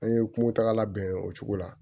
An ye kungotagala bɛn o cogo la